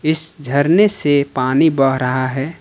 इस झरने से पानी बह रहा है ।